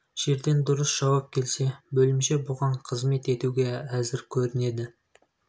жерден дұрыс жауап келсе бөлімше бұған қызмет етуге әзір көрінді